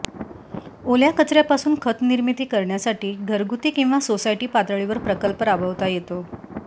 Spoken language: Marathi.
ओल्या कचऱ्यापासून खतनिर्मिती करण्यासाठी घरगुती किंवा सोसायटी पातळीवर प्रकल्प राबवता येतो